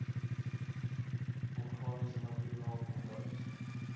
organiese materiaal kombuis